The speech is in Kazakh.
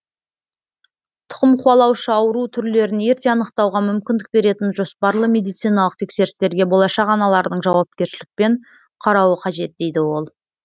тұқымқуалаушы ауру түрлерін ерте анықтауға мүмкіндік беретін жоспарлы медициналық тексерістерге болашақ аналардың жауапкершілікпен қарауы қажет дейді ол